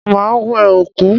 Máa wẹ òkú.